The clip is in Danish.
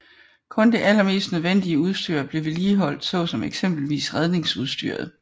Kun det allermest nødvendige udstyr blev vedligeholdt såsom eksempelvis redningsudstyret